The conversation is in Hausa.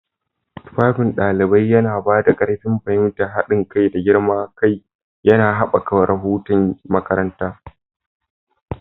Tufafin ɗalibi yana ba da ƙarin fahimtar haɗin kai da girman kai, yana haɓaka ruhun makaranta.